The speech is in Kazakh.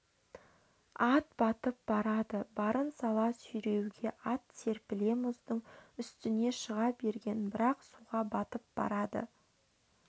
ат батып барады барын сала сүйреуде ат серпіле мұздың үстіне шыға берген бірақ суға батып бара